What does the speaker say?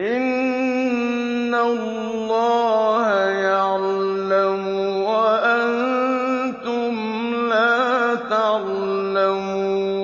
إِنَّ اللَّهَ يَعْلَمُ وَأَنتُمْ لَا تَعْلَمُونَ